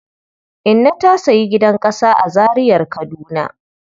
Inna ta sayi gidan ƙasa a Zariar Kaduna..